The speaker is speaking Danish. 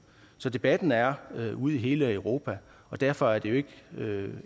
så debatten er ude i hele europa og derfor er det jo ikke